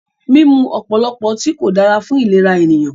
Mímú ọ̀pọ̀lọpọ̀ ọtí kò dára fún ìlera ènìyàn.